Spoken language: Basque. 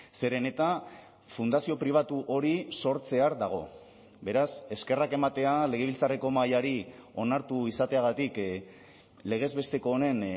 zeren eta fundazio pribatu hori sortzear dago beraz eskerrak ematea legebiltzarreko mahaiari onartu izateagatik legez besteko honen